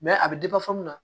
a bɛ mun na